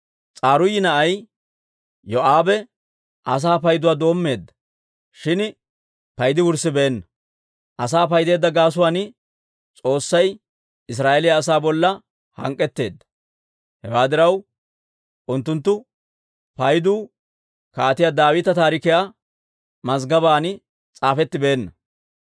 S'aruuyi na'ay Yoo'aabe asaa payduwaa doommeedda; shin paydi wurssibeenna. Asaa paydeedda gaasuwaan S'oossay Israa'eeliyaa asaa bolla hank'k'etteedda. Hewaa diraw, unttunttu paydu Kaatiyaa Daawita taarikiyaa mazggobaan s'aafettibeenna.